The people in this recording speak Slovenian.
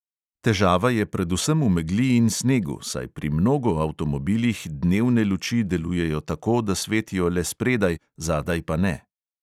Težava je predvsem v megli in snegu, saj pri mnogo avtomobilih dnevne luči delujejo tako, da svetijo le spredaj, zadaj pa ne.